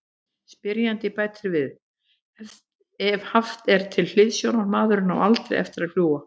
Spyrjandi bætir við: Ef haft er til hliðsjónar:.maðurinn á ALDREI eftir að fljúga.